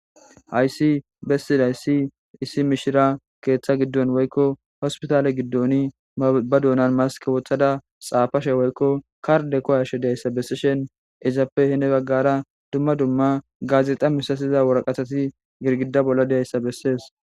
Hayssi bessida issi issi mishira keeththa giddon woykko hospitaale giddoni ba duunan maske wothada xaafashe woykko karde koyashe deayssa bessishen izappe hine baggara dumma dumma gaazexa misasiza woraqatati girgida bolla deayssa bessees